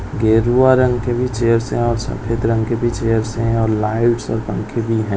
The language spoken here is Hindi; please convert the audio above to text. गेरुआ रंग के भी चेयर्स है और सफेद रंग के भी चेयर्स है और लाइटस और पंखे भी है।